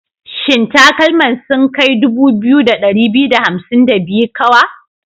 Shin takalman sun kai 2252 kawa?